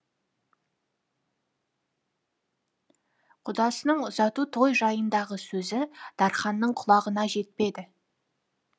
құдасының ұзату той жайындағы сөзі дарханның құлағына жетпеді